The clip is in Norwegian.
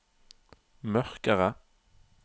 mørkere